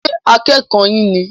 Ṣé akẹ́kọ̀ yín ní?